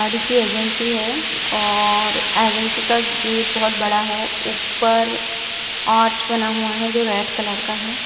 गाड़ी की एजेंसी है और एजेंसी का गेट बहुत बड़ा है ऊपर आर्च बना हुआ है जो रेड कलर का हैं।